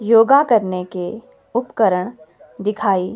योगा करने के उपकरण दिखाई--